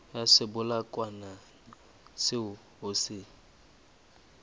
ya sebolayakokwanyana seo o se